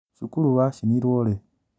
Cukuru wacinirwo rĩ?